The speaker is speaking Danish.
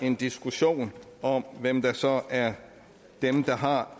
en diskussion om hvem der så er dem der har